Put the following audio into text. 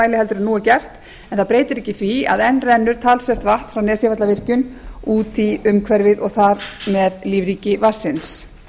en nú er gert en það breytir ekki því að enn rennur talsvert vatn frá nesjavallavirkjun út í umhverfið og þar með lífríki vatnsins